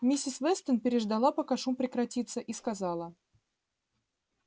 миссис вестон переждала пока шум прекратится и сказала